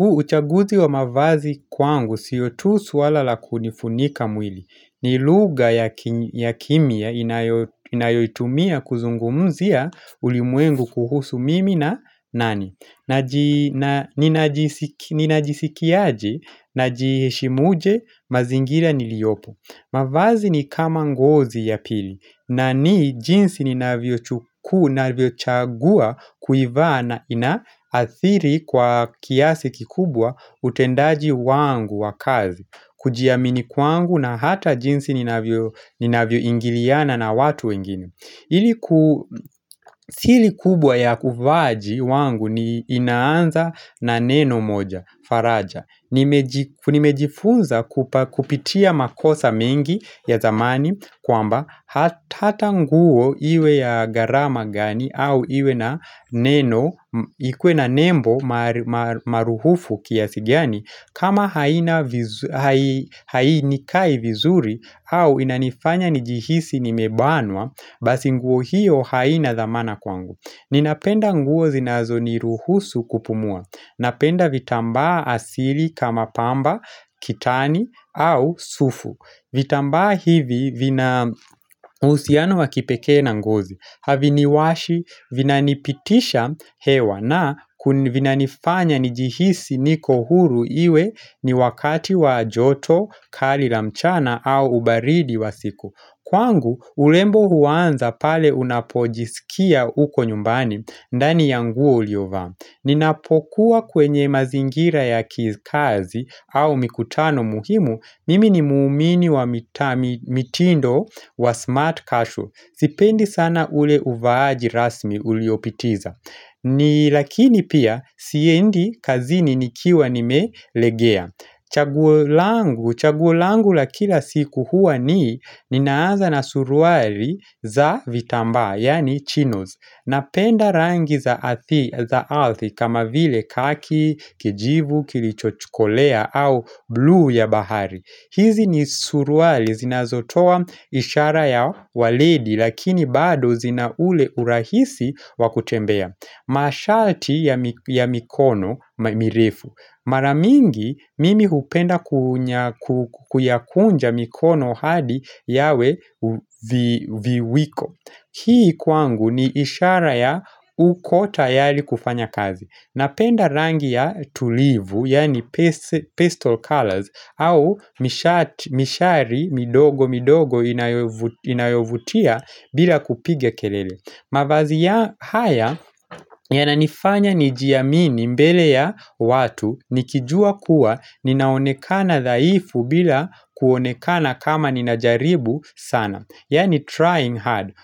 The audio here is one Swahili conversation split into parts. Uchaguzi wa mavazi kwangu siyo tu swala la kunifunika mwili. Ni lugha ya kimia inayoitumia kuzungumzia ulimwengu kuhusu mimi na nani. Ninajisikiaje, najihishimuje, mazingira niliopo. Mavazi ni kama ngozi ya pili, na ni jinsi ninavyo chukua, ninavyo chagua kuivaa na inaathiri kwa kiasi kikubwa utendaji wangu wakazi. Kujiamini kwangu na hata jinsi ninavyo ni navyo ingiliana na watu wengine. Ili ku siri kubwa ya uvaaji wangu ni inaanza na neno moja, faraja. Nimejifunza kupitia makosa mengi ya zamani kwamba hata nguo iwe ya gharama gani. Au iwe na neno ikuwe na nembo maruhufu kiasi gani. Kama haina hau hainikai vizuri au inanifanya nijihisi nimebanwa. Basi nguo hiyo haina dhamana kwangu. Ninapenda nguo zinazo ni ruhusu kupumua. Napenda vitambaa asili kama pamba, kitani au sufu. Vitambaa hivi vina uhusiano wakipekee na ngozi. Haviniwashi, vinanipitisha hewa na ku vinanifanya nijihisi niko huru iwe ni wakati wa joto, kali la mchana au ubaridi wa siku. Kwangu urembo huanza pale unapojisikia uko nyumbani ndani yangu uliovaa Ninapokuwa kwenye mazingira ya kazi au mikutano muhimu. Mimi ni muumini wa mitindo wa smart kashu Sipendi sana ule uvaaji rasmi uliopitiza. Ni lakini pia siendi kazini nikiwa ni melegea. Chaguo langu chaguo langu la kila siku hua ni Ninaanza na suruali za vitambaa yaani chinos. Napenda rangi za za arthi kama vile kaki, kijivu, kilichochukolea au bluu ya bahari. Hizi ni suruali zinazotoa ishara ya waledi lakini bado zina ule urahisi wakutembea. Mashalti ya ya mikono mirefu maramingi mimi hupenda ku kuyakunja mikono hadi yawe viwiko. Hii kwangu ni ishara ya ukotayari kufanya kazi. Napenda rangi ya tulivu, yaani pistol colors au mishari midogo midogo inayo inayovutia bila kupiga kelele. Mavazi ya haya ya nanifanya nijiamini mbele ya watu nikijua kuwa ninaonekana zaifu bila kuonekana kama ninajaribu sana. Yaani trying hard.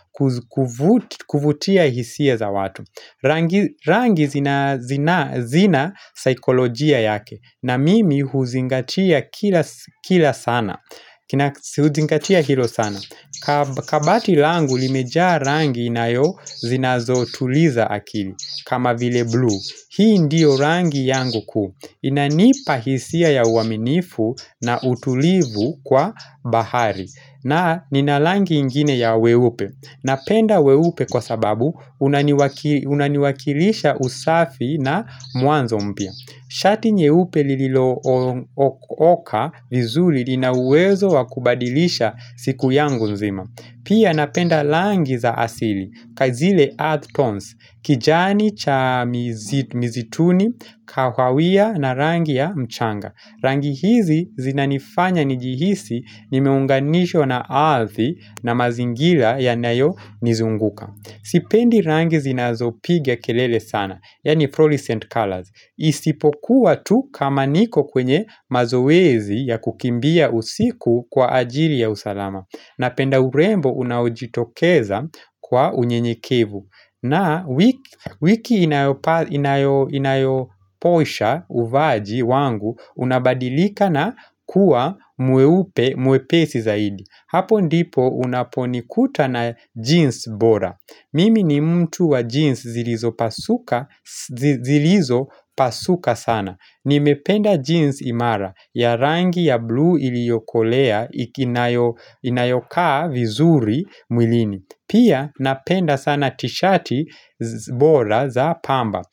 Kuvutia hisia za watu rangi. Rangi zina zina zinasaikolojia yake. Na mimi huzingatia kila kila sana huzingatia hilo sana. Kabati langu limejaa rangi inayo zinazo tuliza akili. Kama vile bluu. Hii ndiyo rangi yangu kuu. Inanipa hisia ya uaminifu na utulivu kwa bahari. Na ninarangi ingine ya weupe. Napenda weupe kwa sababu unaniwakilisha usafi na mwanzo mpya. Shati nyeupe lililo vizuri linawezo wakubadilisha siku yangu nzima. Pia napenda rangi za asili. Kazile earth tons. Kijani cha misituni, kahawia na rangi ya mchanga. Rangi hizi zinanifanya nijihisi nimeunganishwa na ardhi na mazingira ya nayo nizunguka. Sipendi rangi zinazopiga kelele sana yaani fluorescent colors Isipokuwa tu kama niko kwenye mazowezi ya kukimbia usiku kwa ajili ya usalama. Na penda urembo unaujitokeza kwa unyenyekevu. Na wiki inayoposha uvaaji wangu unabadilika na kuwa mweupe mwepesi zaidi. Hapo ndipo unaponikuta na jeans bora. Mimi ni mtu wa jeans zilizo pasuka zilizo pasuka sana. Nimependa jeans imara ya rangi ya bluu ili yokolea inayokaa vizuri mwilini. Pia napenda sana tishati bora za pamba.